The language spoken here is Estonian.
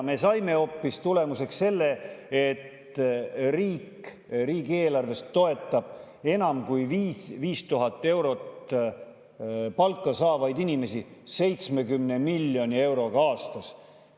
Me saime tulemuseks hoopis selle, et riik riigieelarvest toetab enam kui 5000 eurot palka saavaid inimesi 70 miljoni euroga aastas.